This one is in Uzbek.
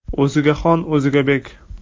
O‘ziga xon, o‘ziga bek.